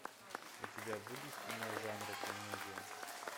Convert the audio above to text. у тебя будет кино жанра комедия